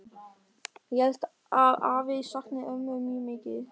Ég held að afi sakni ömmu mjög mikið.